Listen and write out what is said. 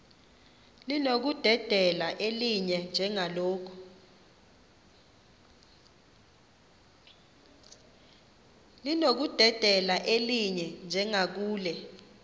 linokudedela elinye njengakule